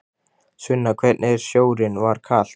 Sunna: Hvernig er sjórinn, var kalt?